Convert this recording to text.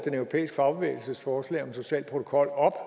europæiske fagbevægelses forslag om en social protokol op